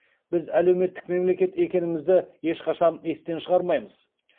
біз әлеуметтік мемлекет екенімізді ешқашан естен шығармаймыз